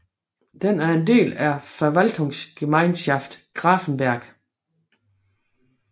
Den er en del af Verwaltungsgemeinschaft Gräfenberg